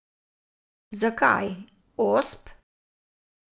Zakaj Osp?